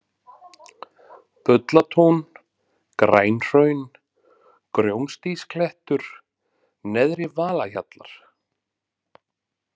Bullatún, Grænhraun, Grjónadýsklettur, Neðri-Valahjallar